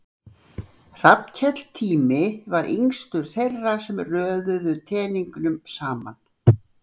Hrafnkell Tími var yngstur þeirra sem röðuðu teningnum saman.